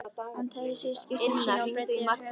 Hann teygði sig í skyrtuna sína og breiddi yfir höfuð.